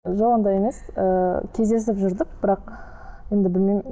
жоқ ондай емес ыыы кездесіп жүрдік бірақ енді білмеймін